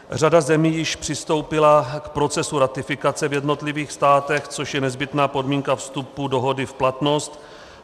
Řada zemí již přistoupila k procesu ratifikace v jednotlivých státech, což je nezbytná podmínka vstupu dohody v platnost.